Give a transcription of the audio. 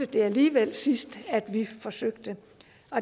det alligevel sidst da vi forsøgte